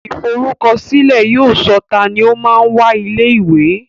Ìforúkọsílẹ̀ yóò sọ tani o máa ń wá ilé ìwé